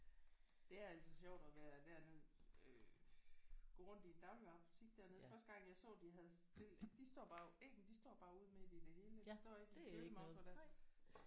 Det er altid sjovt at være derned øh gå rundt i en dagligvarebutik dernede. Første gang jeg så de havde stillet de står bare æggene de står bare ude midt i det hele de står ikke i kølemontre der